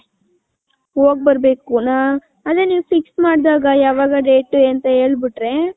ಹೋಗ್ಬರ್ಬೇಕು ಅದೇ ನೀವು fix ಮಾಡ್ದಾಗ ಯಾವಾಗ ಡೇಟ್ ಅಂತ ಹೇಳ್ಬಿಟ್ರೆ .